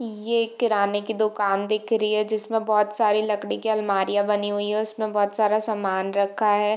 ये एक किराने की दुकान दिख रही है जिसमे बोहत सारी लकड़ियां के आलमारियां बनी हुई है उसमे बोहत सारा सामान रखा है।